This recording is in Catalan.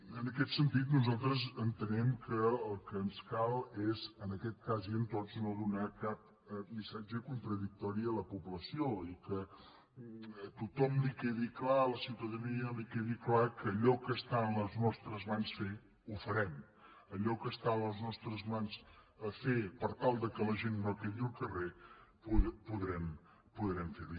en aquest sentit nosaltres entenem que el que ens cal és en aquest cas i en tots no donar cap missatge contradictori a la població i que a tothom li quedi clar a la ciutadania li quedi clar que allò que està en les nostres mans fer ho farem allò que està en les nostres mans fer per tal que la gent no quedi al carrer podrem fer ho